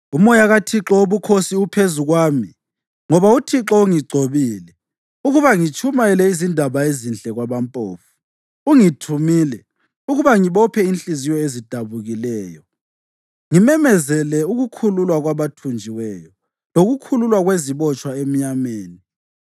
Umoya kaThixo Wobukhosi uphezu kwami, ngoba uThixo ungigcobile ukuba ngitshumayele izindaba ezinhle kwabampofu. Ungithumile ukuba ngibophe inhliziyo ezidabukileyo, ngimemezele ukukhululwa kwabathunjiweyo, lokukhululwa kwezibotshwa emnyameni,